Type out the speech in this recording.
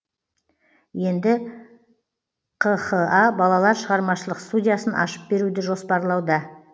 енді қха балалар шығармашылық студиясын ашып беруді жоспарлауда